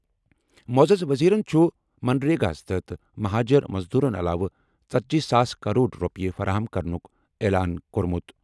معزز وزیرَن چھُ منریگا ہَس تحت مہاجر مزدورَن علاوٕ 40,000 کرور رۄپیہِ فراہم کرنُک اعلان کوٚرمُت۔